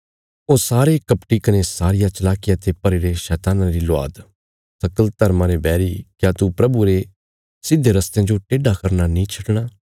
ओ सारे कपटी कने सारिया चलाकिया ते भरीरे शैतान्ना री ल्वाद सकल धर्मा रे बैरी क्या तू प्रभुये रे सिधे रस्तेयां जो टेड्डा करना नीं छडणा